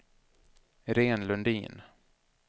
Irene Lundin